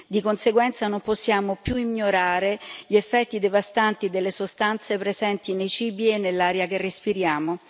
Di conseguenza non possiamo più ignorare gli effetti devastanti delle sostanze presenti nei cibi e nell'aria che respiriamo.